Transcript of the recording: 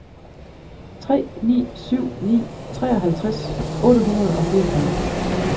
tre ni syv ni treoghalvtreds otte hundrede og fireogfyrre